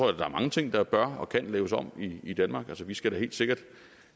at der er mange ting der bør og kan laves om i danmark vi skal da helt sikkert